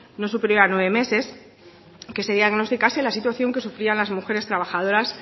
no superior a nueve meses que se diagnosticase la situación que sufrían las mujeres trabajadoras